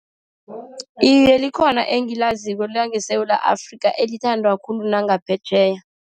Iye, likhona engiyaziko langeSewula Afrika, elithandwa khulu nangaphetjheya.